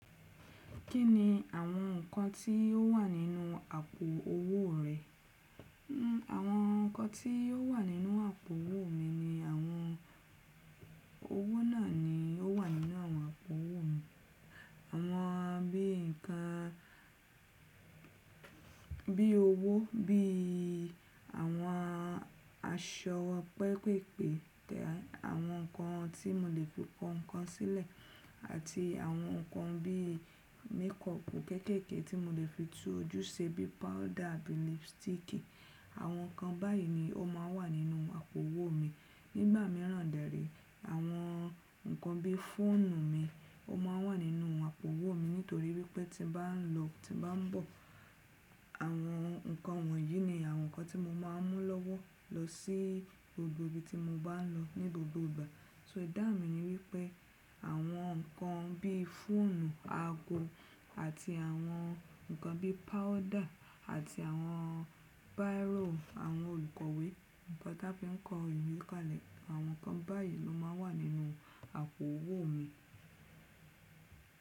Kí ni àwọn nǹkan tí ó wà nínú àpò owó rẹ? Àwọn nǹkan tí ó wà nínú àpò owó mi ni àwọn owó náà ni ó wà nínú àwọn àpò owó mi. Àwọn bí nǹkan bí owó bí àwọn aṣọ pẹpèpèpè tẹ àwọn nǹkan tí mo lè fi kọ́ nǹkan sílẹ̀ àti àwọn nǹkan bí makeup kéékèèké tí mo lè fi tú ojú ṣe bí powder àbí lipstick. Àwọn nǹkan báyìí ni ó máa ń wà nínú àpò owó mi. Nígbà mìíràn dẹ́rì, àwọn nǹkan bí fóònù mi ó máa ń wà nínú àpò owó mi nítorí wípé tí bá ń lọ tí bá ń bọ̀ àwọn nǹkan wọ̀nyí ni àwọn nǹkan tí mo máa ń mú lọ́wọ́ lọ sí gbogbo ibi tí mo bá ń lọ ní gbogbo ìgbà. So ìdáhun mi ni wípé àwọn nǹkan bí fóònù, ago àti àwọn nǹkan bí powder àti àwọn bírọ̀, àwọn olùkọ̀wé, nǹkan tí a fi ń kọ ìwé kalẹ̀ àwọn nǹkan báyìí ló máa ń wà nínú àpò owó mi.